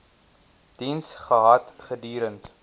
diens gehad gedurend